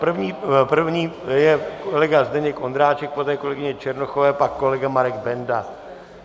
První je kolega Zdeněk Ondráček, poté kolegyně Černochová, pak kolega Marek Benda.